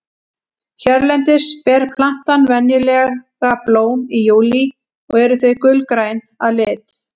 hérlendis ber plantan venjulega blóm í júlí og eru þau gulgræn að lit